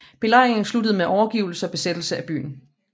Belejringen sluttede med overgivelse og besættelse af byen